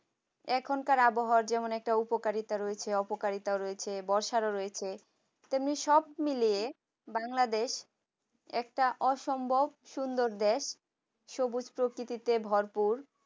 এখনকার আবহাওয়া যেমন একটা উপকারিতা রয়েছে অপকারিতা রয়েছে বর্ষার ওর রয়েছে তেমনি সব মিলিয়ে bangladesh একটা অসম্ভব সুন্দর দেশ সবুজ প্রকৃতিতে ভরপুর